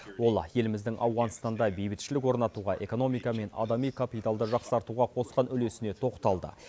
ол еліміздің ауғанстанда бейбітшілік орнатуға экономика мен адами капиталды жақсартуға қосқан үлесіне тоқталды